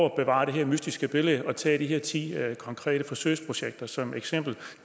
at bevare det her mystiske billede er at tage de her ti konkrete forsøgsprojekter som eksempel